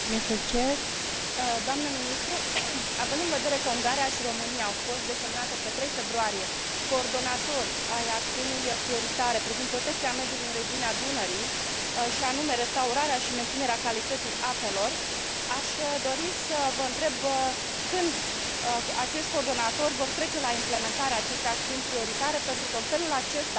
Având în vedere că Ungaria și România au fost desemnate pe 3 februarie coordonatori ai acțiunii prioritare privind protecția mediului în regiunea Dunării, și anume restaurarea și menținerea calității apelor, aș dori să vă întreb când vor trece acești coordonatori la implementarea acestei acțiuni prioritare, pentru că în felul acesta vom putea asigura calitatea apei potabile.